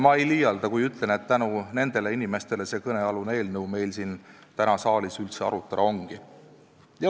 Ma ei liialda, kui ütlen, et tänu nendele inimestele see eelnõu täna siin saalis üldse arutada ongi.